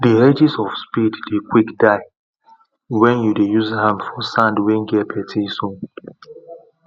the edges of spade dey quick die wen you dey use am for sand wen get plenty stone